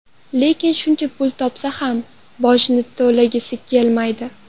Lekin shuncha pul topsa ham, bojni to‘lagisi kelmaydi.